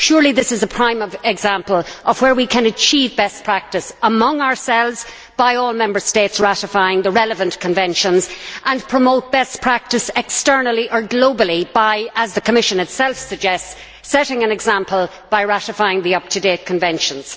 Surely this is a prime example of where we can achieve best practice among ourselves by all Member States ratifying the relevant conventions and promote best practice externally or globally by, as the Commission itself suggests, setting an example by ratifying the up to date conventions.